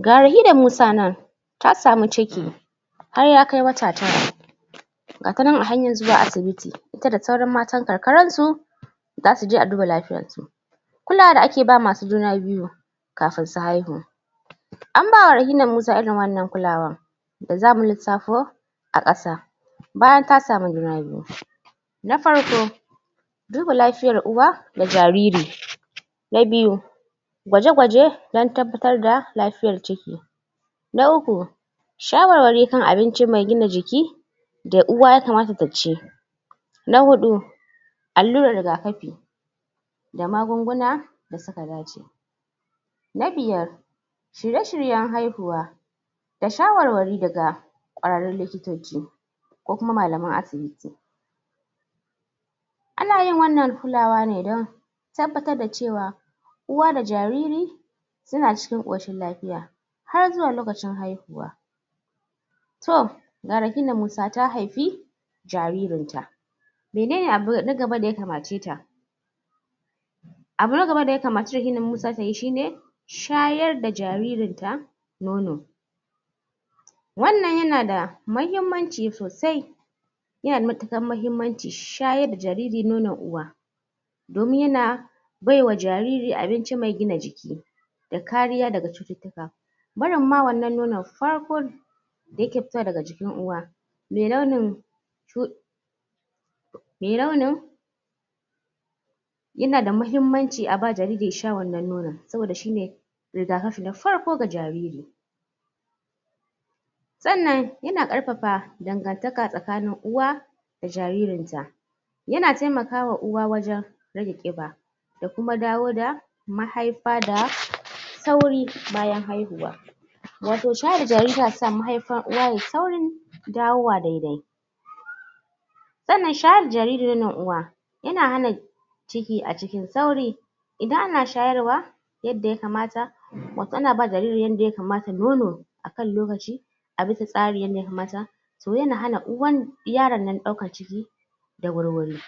Ga Rahina Musa nan ta samu ciki har ya kai wata tara ga ta nan a hanyar zuwa asibiti, ita da sauran matan karkaran su zasu je a duba lafiyan su kulawan da ake ba masu juna biyu kafin su haihu an bawa Rahina Musa irin wannan kulawan zamu lissafo a ƙasa bayan ka samu juna biyu na farko duba lafiyar uwa da jariri na biyu gwaje-gwaje dan tabbatar da lafiyar ciki na uku, shawarwari kan abinci mai gina jiki da uwa yakamata ta ci na huɗu, alluran riga kafi da magunguna da suka dace na biyar, shirye-shiryen haihuwa da shawarwari daga ƙwararrun likitoci ko kuma malaman asibiti ana yin wannan kulawa ne dan tabbatar da cewa uwa da jariri suna cikin ƙoshin lafiya har zuwa lokacin haihuwa to ga Rahina Musa ta haifi jaririn ta menene abu na gaba da ya kamace ta? abu na gaba da ya kamace Rahina Musa tayi shi ne shayar da jaririn ta nono wannan yana da mahimmanci sosai yana da matuƙar mahimmanci shayar da jariri nono uwa domin yana baiwa jariri abinci me gina jiki da kariya daga cututtuka barin ma wannan nonon farko da yake fita daga jikin uwa me launin shuɗi me nono yana da mahimmanci aba jariri ya sha wannan nono saboda shi ne rigakafi na farko ga jariri sannan yana ƙarfafa dangantaka tsakanin uwa da jaririn ta yana taimakawa uwa wajen rage kiɓa da kuma dawo da mahaifa da sauri bayan haihuwa wato shayar da jariri yana sa mahaifan uwa yayi saurin dawowa dai-dai sannan shayar da jariri nonon uwa ina hana ciki a cikin sauri idan ana shayarwa yadda yakamata motsi na ba jariri yanda yakamata nono akan lokaci a bisa tsari yadda yakamata so yana hana uwan yaron nan ɗaukan ciki da wurwuri